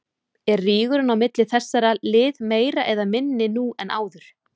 Er rígurinn á milli þessara lið meiri eða minni nú en áður?